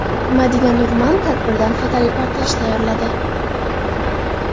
Madina Nurman tadbirdan fotoreportaj tayyorladi.